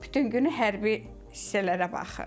Bütün günü hərbi hissələrə baxır.